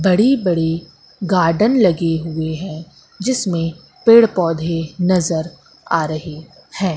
बड़ी बड़ी गार्डन लगे हुए हैं जिसमें पेड़ पौधे नजर आ रहे हैं।